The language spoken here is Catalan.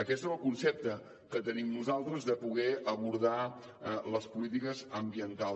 aquest és el concepte que tenim nosaltres de poder abordar les polítiques ambientals